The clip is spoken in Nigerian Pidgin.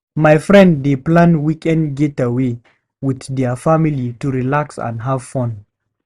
My friend dey plan weekend getaway with their family to relax and have fun.